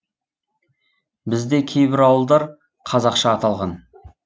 бізде кейбір ауылдар қазақша аталған